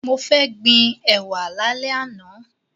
Mo fẹ́ gbin ẹ̀wà lálẹ́ àná.